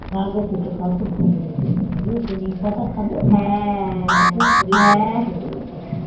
না গো তেতো খাওয়া খুব ভালো যেন তেতো খাবে নিঁ পাতা খাবে শরীর ভালো থাকে বুঝেছো